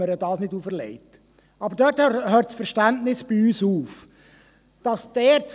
Wir haben auch Verständnis, dass man ihr dies nicht auferlegt.